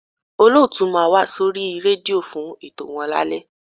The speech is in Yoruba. Olóòtú máa wá sórí rédíò fún ètò wọn lálẹ́